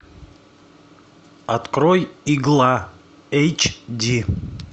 открой игла эйч ди